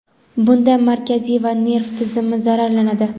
bunda markaziy nerv tizimi zararlanadi.